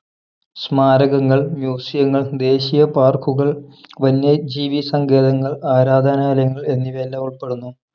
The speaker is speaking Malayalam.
സ്മാരകങ്ങൾ Museum ങ്ങൾ ദേശീയ park കുകൾ വന്യജീവി സങ്കേതങ്ങൾ ആരാധനാലയങ്ങൾ എന്നിവയെല്ലാം ഉൾപ്പെടുന്നു